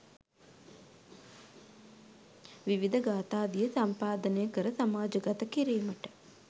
විවිධ ගාථාදිය සම්පාදනය කර සමාජගත කිරීමට